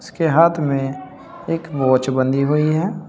इसके हाथ में एक वॉच बंधी हुई है।